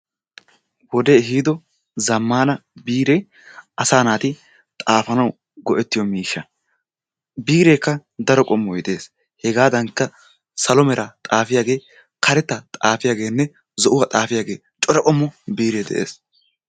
Wodee ehido zammaana biree asaa naati xaafanawu go"ettiyoo miishsha. Bireekka daro qommoy dees. Hegadankka slo meraa xaafiyaagee karettaa xaafiyaagenne zo"uwaa xaafiyaage cora qommo biree de'ees.